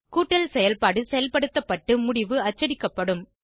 கூட்டல் செயல்பாடு செயல்படுத்தப்பட்டு முடிவு அச்சடிக்கப்படும்